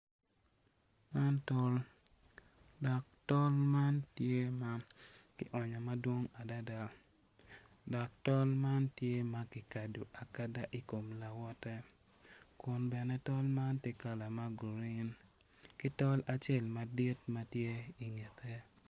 Man tol dok tol man tye ma ki onyo madwong adada dok tol man tye ma ki kado akada ikom lawote kun bene tol man tye kala ma guruin ki tol aacel madit tye ingete